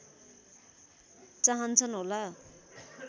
चाहन्छन् होला